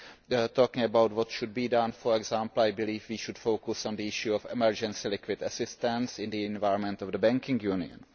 We are talking about what should be done for example, I believe we should focus on the issue of emergency liquidity assistance in the environment of the Banking Union.